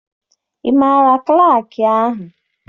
Ị maara klaakị ahụ?